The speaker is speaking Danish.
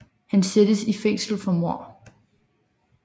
Han sættes i fængsel for mord